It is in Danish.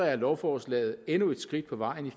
er lovforslaget endnu et skridt på vejen